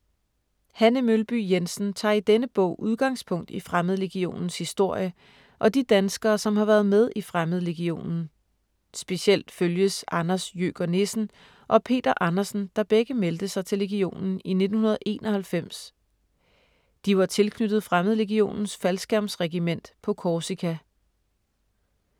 Hanne Mølby Jensen tager i denne bog udgangspunkt i Fremmedlegionens historie og de danskere, som har været med i Fremmedlegionen. Specielt følges Anders Jøker Nissen og Peter Andersen, der begge meldte sig til legionen i 1991. De var tilknyttet Fremmedlegionens faldskærmsregiment på Korsika.